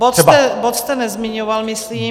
Bod jste nezmiňoval, myslím.